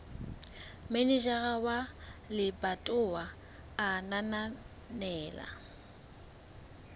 manejara wa lebatowa a ananela